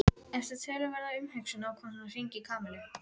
Eftir töluverða umhugsun ákvað hann að hringja í Kamillu.